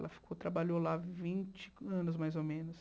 Ela ficou trabalhou lá vinte anos, mais ou menos.